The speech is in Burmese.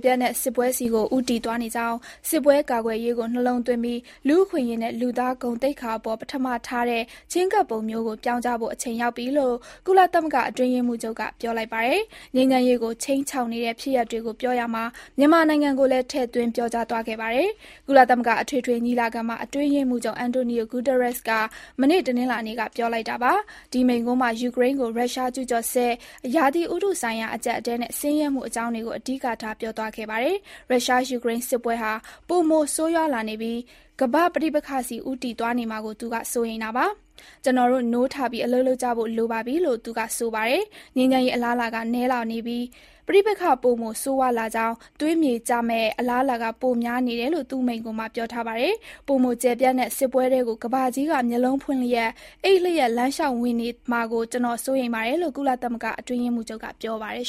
ပြန့်တဲ့ စစ်ပွဲဆီကို ဦးတည်သွားနေကြောင်း၊ စစ်ပွဲကာကွယ်ရေးကို နှလုံးသွင်းပြီး၊ လူ့အခွင့်အရေးနဲ့ လူသား ဂုဏ်သိက္ခာအပေါ် ပထမထားတဲ့ ချဉ်းကပ်ပုံမျိုးကို ပြောင်းကြဖို့ အချိန်ရောက်ပြီလို့ ကုလသမဂ္ဂအတွင်းရေးမှူးချုပ်က ပြောလိုက်ပါတယ်။ ငြိမ်းချမ်းရေး ကို ခြိမ်းခြောက်နေတဲ့ ဖြစ်ရပ်တွေကိုပြောရာမှာ မြန်မာနိုင်ငံကိုလည်း ထည့်သွင်းပြောကြားသွားခဲ့ပါတယ်။ ကုလသမဂ္ဂအထွေထွေညီလာခံမှာ အတွင်းရေးမှူးချုပ် Antonio Guterres က မနေ့ တနင်္လာနေ့က ပြောလိုက်တာပါ။ ဒီမိန့်ခွန်းမှာ ယူကရိန်းကို ရုရှား ကျူးကျော်စစ်၊ ရာသီဥတုဆိုင်ရာ အကျပ်အတည်းနဲ့ ဆင်းရဲမှု အကြောင်းတွေကို အဓိကထား ပြောသွားခဲ့ပါတယ်။ ရုရှား ယူကရိန်း စစ်ပွဲဟာ ပိုမို ဆိုးဝါးလာနေပြီး ကမ္ဘာ့ ပဋိပက္ခဆီ ဦးတည်သွားနေမှာကို သူက စိုးရိမ်တာပါ။ ကျွန်တော်တို့ နိုးထပြီး၊ အလုပ်လုပ်ကြဖို့ လိုပါပြီလို့ သူကဆိုပါတယ်။ ငြိမ်းချမ်းရေး အလားအလာက နည်းနည်းလာနေပြီး၊ ပဋိပက္ခ ပိုမို ဆိုးဝါးလာကြောင်း၊ သွေးမြေကျကြမယ့် အလားအလာက ပို များနေတယ်လို့ သူ့မိန့်ခွန်းမှာ ပြောထားပါတယ်။ “ပိုမိုကျယ်ပြန့်တဲ့ စစ်ပွဲထဲကို ကမ္ဘာကြီးက မျက်လုံးဖွင့်လျက် အိပ်ပျော်လမ်းလျှောက်ဝင်သွားနေမှာကို ကျွန်တော် စိုးရိမ်ပါတယ်။” လို့ ကုလသမဂ္ဂ အတွင်းရေးမှူးချုပ်က ပြောပါတယ်